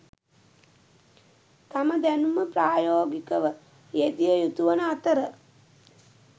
තම දැනුම ප්‍රායෝගිකව යෙදිය යුතුවන අතර